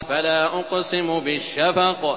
فَلَا أُقْسِمُ بِالشَّفَقِ